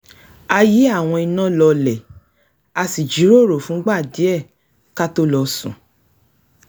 a yí àwọn iná lọlẹ̀ a sì jíròrò fúngbà díẹ̀ ká tó lọ sùn